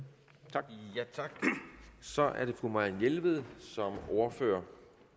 tak så er det fru marianne jelved som ordfører